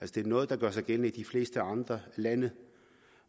det er noget der gør sig gældende i de fleste andre lande